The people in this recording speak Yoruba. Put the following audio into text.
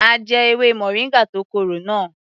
A jẹ ewé moringa tó korò náà.